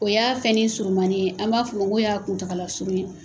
O y'a fɛn nin surumanin an b'a fɔ ko y'a kuntaala surun ye.